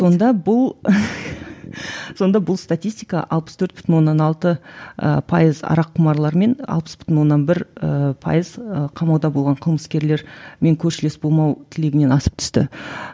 сонда бұл сонда бұл статистика алпыс төрт бүтін оннан алты ы пайыз араққұмарлармен алпыс бүтін оннан бір і пайыз қамауда болған қылмыскерлермен көршілес болмау тілегінен асып түсті